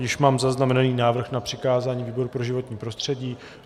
Již mám zaznamenaný návrh na přikázání výboru pro životní prostředí.